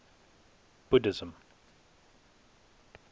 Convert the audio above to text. buddhism